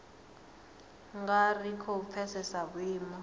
nga ri khou pfesesa vhuimo